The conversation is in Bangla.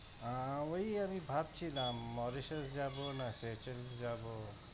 আআ ওই আমি ভাবছিলাম Mauritius যাব না যাব।